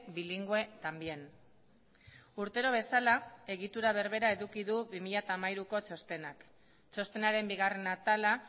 bilingüe también urtero bezala egitura berbera eduki du bi mila hamairuko txostenak txostenaren bigarren atala